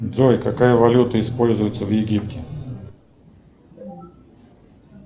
джой какая валюта используется в египте